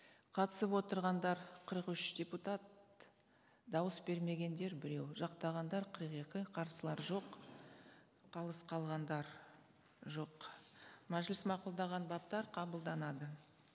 қатысып отырғандар қырық үш депутат дауыс бермегендер біреу жақтағандар қырық екі қарсылар жоқ қалыс қалғандар жоқ мәжіліс мақұлдаған баптар қабылданады